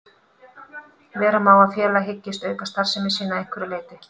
Vera má að félag hyggist auka starfsemi sína að einhverju leyti.